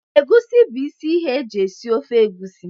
Egwusi bu isi ihe eji esi ofe egwusi.